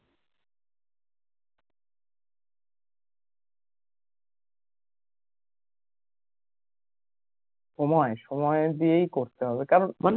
সময় সময় দিয়েই করতে হবে